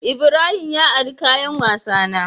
Ibrahim ya ari kayan wasa na.